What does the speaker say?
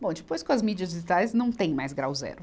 Bom e depois com as mídias digitais não tem mais grau zero.